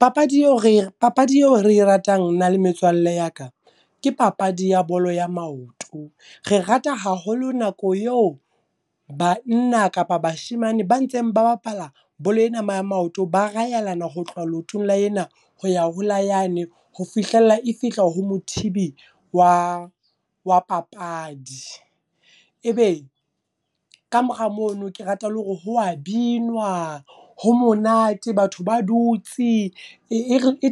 Papadi eo re, papadi eo re ratang nna le metswalle ya ka. Ke papadi ya bolo ya maoto. Re rata haholo nako yeo banna kapa bashemane ba ntseng ba bapala bolo ena ya maoto ba rayelana ho tloha leotong la ena, hoya ho la yane ho fihlella e fihla ho mothibi wa wa papadi. Ebe kamora mono ke rata le hore ho wa binwa, ho monate, batho ba dutsi. E